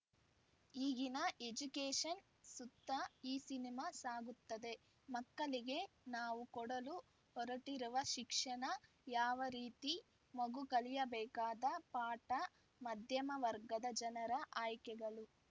ಈಗಿನ ಎಜುಕೇಷನ್‌ ಸುತ್ತ ಈ ಸಿನಿಮಾ ಸಾಗುತ್ತದೆ ಮಕ್ಕಳಿಗೆ ನಾವು ಕೊಡಲು ಹೊರಟಿರುವ ಶಿಕ್ಷಣ ಯಾವ ರೀತಿ ಮಗು ಕಲಿಯಬೇಕಾದ ಪಾಠ ಮಧ್ಯಮ ವರ್ಗದ ಜನರ ಆಯ್ಕೆಗಳು